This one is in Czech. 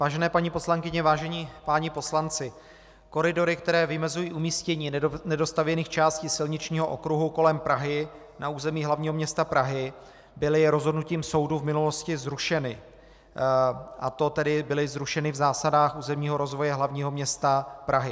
Vážené paní poslankyně, vážení páni poslanci, koridory, které vymezují umístění nedostavěných částí silničního okruhu kolem Prahy na území hlavního města Prahy, byly rozhodnutím soudu v minulosti zrušeny, a to tedy byly zrušeny v zásadách územního rozvoje hlavního města Prahy.